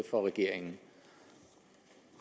for regeringen